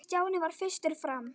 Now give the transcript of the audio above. Stjáni varð fyrstur fram.